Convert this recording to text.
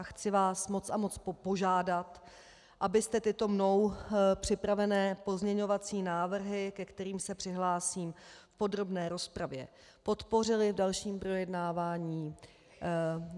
A chci vás moc a moc požádat, abyste tyto mnou připravené pozměňovací návrhy, ke kterým se přihlásím v podrobné rozpravě, podpořili v dalším projednávání.